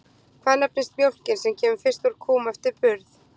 Hvað nefnist mjólkin sem kemur fyrst úr kúm eftir burð?